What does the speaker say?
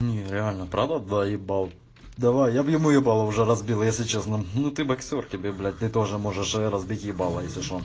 не реально правда доебал давай я б ему ебало уже разбил если честно ну ты боксёр тебе блять ты тоже можешь разбить ебало если что